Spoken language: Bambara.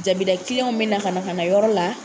Dabida be na ka na yɔrɔ la